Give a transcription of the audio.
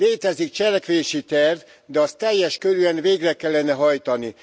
Létezik cselekvési terv, de azt teljes körűen végre kellene hajtani.